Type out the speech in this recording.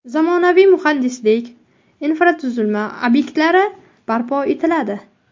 Zamonaviy muhandislik infratuzilma obyektlari barpo etiladi.